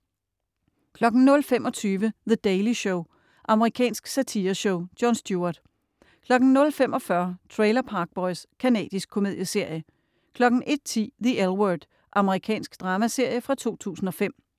00.25 The Daily Show. Amerikansk satireshow. Jon Stewart 00.45 Trailer Park Boys Canadisk komedieserie 01.10 The L Word. Amerikansk dramaserie fra 2005